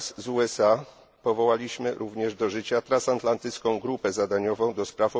Wraz z USA powołaliśmy również do życia Transatlantycką grupę zadaniową ds.